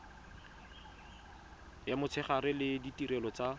ya motshegare le ditirelo tsa